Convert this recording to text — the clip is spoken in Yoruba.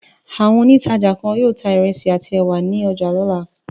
Àwọn òǹtajà kan yóò ta ìrẹsì àti ẹ̀wà ní ọjà lọ́la.